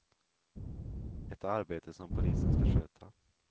Ett arbete som polisen ska sköta.